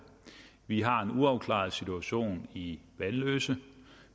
vi har en uafklaret situation i vanløse